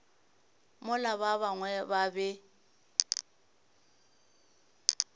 mola ba bangwe ba be